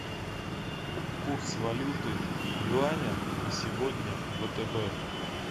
курс валюты юаня на сегодня в втб